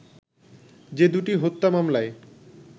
যে দু'টি হত্যা মামলায়